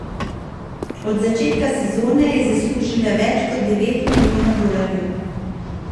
Od začetka sezone je zaslužila več kot devet milijonov dolarjev.